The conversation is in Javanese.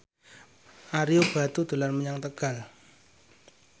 Ario Batu dolan menyang Tegal